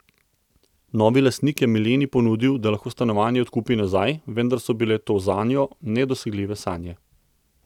Novi lastnik je Mileni ponudil, da lahko stanovanje odkupi nazaj, vendar so bile to zanjo nedosegljive sanje.